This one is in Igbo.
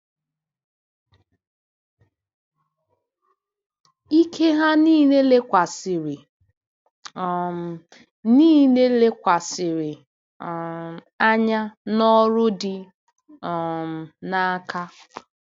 Ike ha niile lekwasịrị um niile lekwasịrị um anya n’ọrụ dị um n’aka.